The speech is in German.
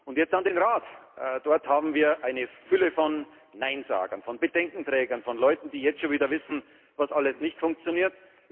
mich. Und jetzt an den Rat Dort haben wir eine Fülle von Neinsagern, von Bedenkenträgern, von Leuten, die jetzt schon wieder wissen, was alles nicht funktioniert.